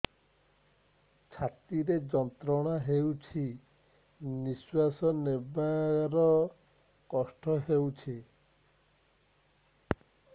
ଛାତି ରେ ଯନ୍ତ୍ରଣା ହେଉଛି ନିଶ୍ଵାସ ନେବାର କଷ୍ଟ ହେଉଛି